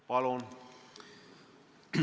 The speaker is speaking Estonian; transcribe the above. Palun!